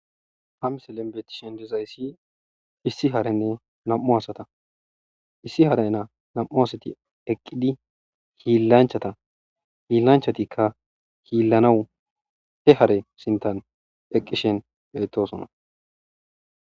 ha miselen betishen dezayssi issi harenne nam7u asata issi haray naa nam7u asati eqqidi hiillanchata hiillanchatikka hiillanawu he hare sintan eqqishen beetosona